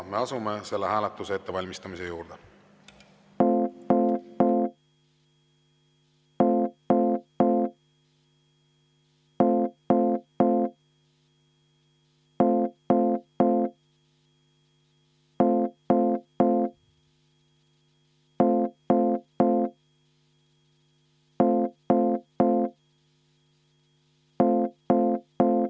Me asume selle hääletuse ettevalmistamise juurde.